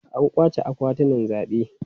An kwace akwatunan zabe.